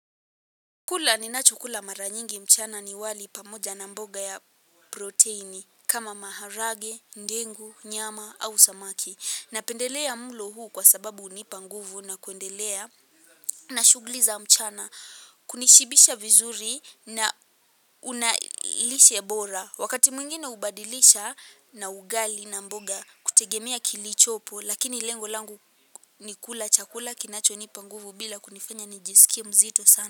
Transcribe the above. Kula ninachokula mara nyingi mchana ni wali pamoja na mboga ya protini kama maharagwe, ndengu, nyama au samaki. Napendelea mlo huu kwa sababu hunipa nguvu na kuendelea na shughuli za mchana. Kunishibisha vizuri na una lishe bora. Wakati mwingine hubadilisha na ugali na mboga kutegemea kilichopo lakini lengo langu ni kula chakula kinachonipa nguvu bila kunifanya nijisikie mzito sana.